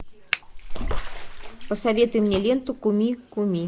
посоветуй мне ленту куми куми